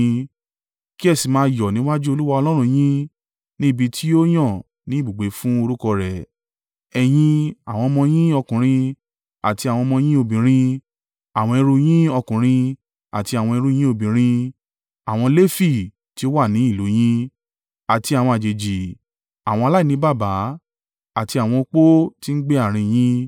Kí ẹ sì máa yọ̀ níwájú Olúwa Ọlọ́run yín ní ibi tí yóò yàn ní ibùgbé fún orúkọ rẹ̀: ẹ̀yin, àwọn ọmọ yín ọkùnrin àti àwọn ọmọ yín obìnrin, àwọn ẹrú yín ọkùnrin àti àwọn ẹrú yín obìnrin, àwọn Lefi tí ó wà ní ìlú yín, àti àwọn àjèjì, àwọn aláìní baba, àti àwọn opó tí ń gbé àárín yín.